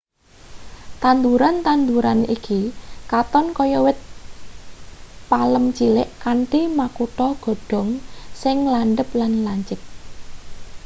tanduran-tanduean iki katon kaya wit palem cilik kanthi makutha godhong sing landhep lan lancip